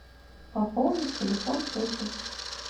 пополнить телефон тети